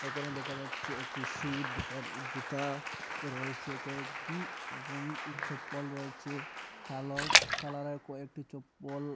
এখানে দেখা যাচ্ছে একটি শুর দোকানের জুতা রয়েছে কয়েকটি এবং চপ্পল রয়েছে কালো কালারের কয়েকটি চপ্পল।